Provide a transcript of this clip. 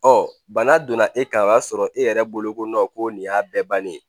Ɔ bana donna e kan o y'a sɔrɔ e yɛrɛ bolo ko nɔn ko nin y'a bɛɛ bannen ye